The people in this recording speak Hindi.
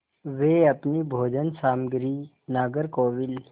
वे अपनी भोजन सामग्री नागरकोविल